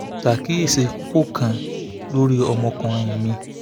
ó sọ pé wọ́n gbá òun lórí ní ilé-ẹ̀kọ́ pẹ̀lú ààyè kan